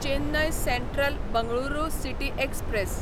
Chennai central Bengaluru city express